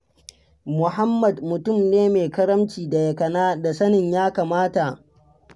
Muhammad mutum ne mai karamci da yakana da sanin ya kamata.